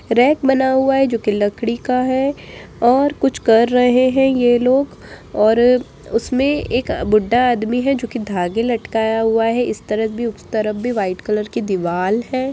Rake बना हुआ है जो की लकड़ी का है और कुछ कर रहे है ये लोग और उसमे एक बूढ़ा आदमी है जो की धागे लटकाया हुआ है इस तरफ भी उस तरफ भी व्हाइट कलर की दीवार है।